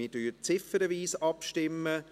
Wir stimmen ziffernweise ab.